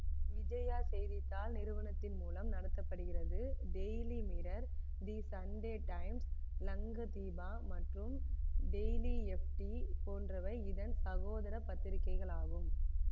விஜயா செய்தி தாள் நிறுவனத்தின் மூலம் நடத்த படுகிறது daily mirror the Sunday Times Lankadeepa மற்றும் டெயிலி எஃப்டி போன்றவை இதன் சகோதர பத்திரிக்கைகளாகும்